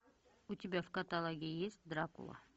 у тебя в каталоге есть дракула